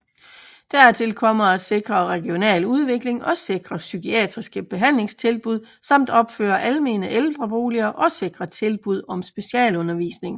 Dertil kommer at sikre regional udvikling og sikre psykiatriske behandlingstilbud samt opføre almene ældreboliger og sikre tilbud om specialundervisning